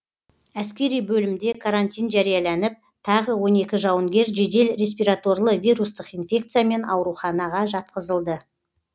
әскери бөлімде карантин жарияланып тағы он екі жауынгер жедел респираторлы вирустық инфекциямен аурухана жатқызылды